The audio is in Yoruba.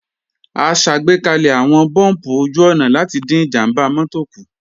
A ṣàgbékalẹ̀ àwọn búùmpù ojú-ọ̀nà láti dín ìjàmbá mọ́tò kù